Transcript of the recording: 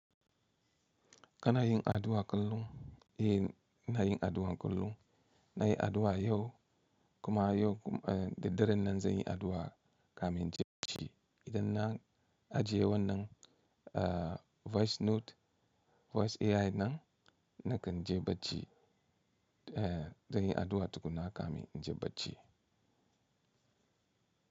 Kana yin addu'a kullum, eh ina yi addu'a kullum. Na yi addu'a yau kuma yau da daren nan zan yi addu'a kamar inji shi. Idan na ajiye wannan, uh, voice note, voice AI nan nakan je bacci. Eh, zan yi addu'a tukuna kamin in je bacci.